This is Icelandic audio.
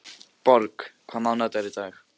Borg, hvaða mánaðardagur er í dag?